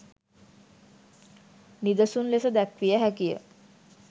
නිදසුන් ලෙස දැක්විය හැකිය.